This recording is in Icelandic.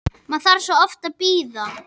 Maður þarf svo oft að bíða!